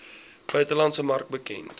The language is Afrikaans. buitelandse mark bekend